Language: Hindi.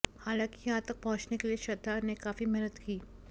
हालांकि यहां तक पहुंचने के लिए श्रद्धा ने काफी मेहनत की